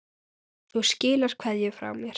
Þú skilar kveðju frá mér.